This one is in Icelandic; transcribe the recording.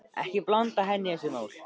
Ekki blanda henni í þessi mál.